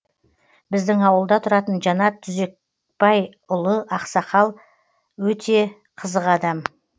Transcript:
біздің ауылда тұратын жанат түбекбайұлы ақсақал өте қызық адам